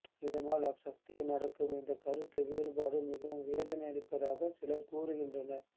இதனால் ஆக்சத்தில் நடக்கும் இந்த கருத்து வேறுபாடு மிகவும் வேதனையளிப்பதாக சிலர் கூறுகின்றனர்